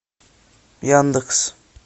яндекс